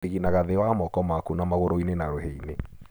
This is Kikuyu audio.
Ũthinginaga thĩ wa moko maku na magũrũ-inĩ na rũhĩ-inĩ.